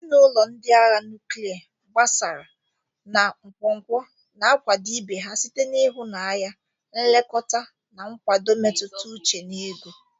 Ezinụlọ ndị agha nuklia, gbasaara na nkwonkwo na-akwado ibe ha site n'ịhụnanya, nlekọta, na nkwado mmetụta uche na ego.